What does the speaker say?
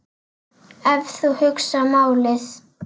Ef þú hugsar málið.